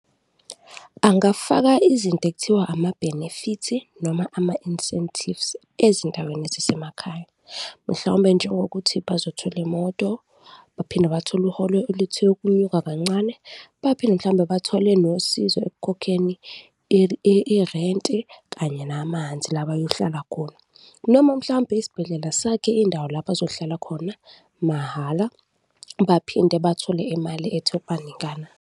Angafaka izinto ekuthiwa ama-benefit-i noma ama-incentives ezindaweni zasemakhaya. Mhlawumbe njengokuthi bazothola imoto baphinde bathole uholo oluthe ukunyuka kancane baphinde mhlawumbe bathole nosizo ekukhokheni irenti kanye namanzi la bayohlala khona noma mhlawumbe isibhedlela sakhe indawo la bazohlala khona mahhala baphinde bathole imali ethe ukubaningana.